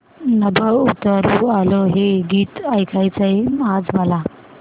नभं उतरू आलं हे गीत ऐकायचंय आज मला